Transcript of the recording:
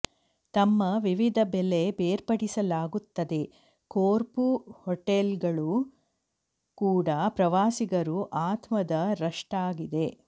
ತಮ್ಮ ವಿವಿಧ ಬೆಲೆ ಬೇರ್ಪಡಿಸಲಾಗುತ್ತದೆ ಕೋರ್ಫು ಹೋಟೆಲುಗಳು ಕೂಡ ಪ್ರವಾಸಿಗರು ಆತ್ಮದ ರಷ್ಟಾಗಿದೆ